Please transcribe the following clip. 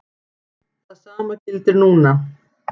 Það sama gildir núna.